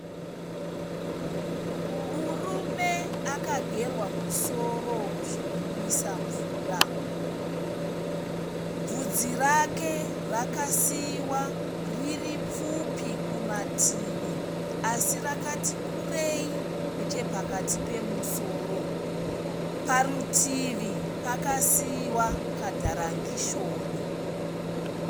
Murume akagerwa musoro zvinonwisa mvura. Bvudzi rake rakasiiwa riri pfupi kumativi así rakati kureyi nechepakati pemusoro. Parutivi pakasiiwa kadharangishoni.